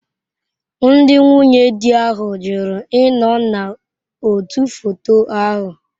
Ndị nwunye di ahụ jụrụ ịnọ n'otu foto ahụ.